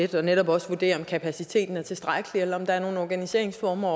tæt og netop også vurdere om kapaciteten er tilstrækkelig eller om der er nogle organiseringsformer